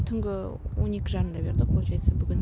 түнгі он екі жарымда берді получается бүгін